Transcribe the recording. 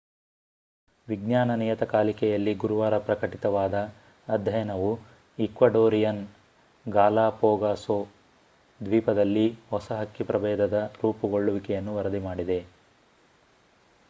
ವಿಜ್ಞಾನ ನಿಯತಕಾಲಿಕೆಯಲ್ಲಿ ಗುರುವಾರ ಪ್ರಕಟಿತವಾದ ಅಧ್ಯಯನವು ಈಕ್ವಡೋರಿಯನ್ ಗಾಲಾಪಾಗೋಸ್ ದ್ವೀಪದಲ್ಲಿ ಹೊಸ ಹಕ್ಕಿ ಪ್ರಭೇದದ ರೂಪುಗೊಳ್ಳುವಿಕೆಯನ್ನು ವರದಿ ಮಾಡಿದೆ